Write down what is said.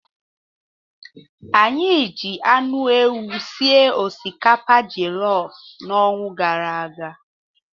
Anyị ji anụ ewu sie osikapa jelof n'ọnwa gara aga.